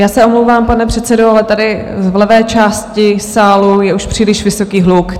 Já se omlouvám, pane předsedo, ale tady v levé části sálu je už příliš vysoký hluk.